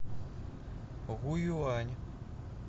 гуюань